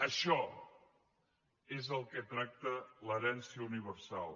això és el que tracta l’herència universal